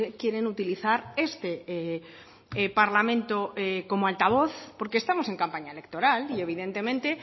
quieren utilizar este parlamento como altavoz porque estamos en campaña electoral y evidentemente